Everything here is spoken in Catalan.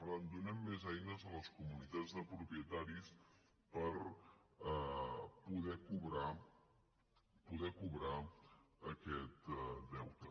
per tant donem més eines a les comunitats de propietaris per poder cobrar aquest deute